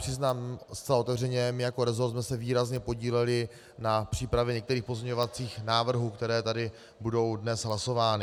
Přiznám zcela otevřeně, my jako resort jsme se výrazně podíleli na přípravě některých pozměňovacích návrhů, které tady budou dnes hlasovány.